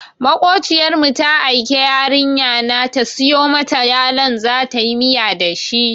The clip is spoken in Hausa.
Maƙociyar mu ta aike yarinya na ta siyo mata yalon zatayi miya da shi.